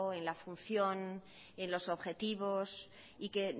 en la función en los objetivos y que